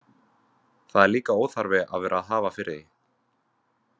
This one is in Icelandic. Það er líka óþarfi að vera að hafa fyrir því.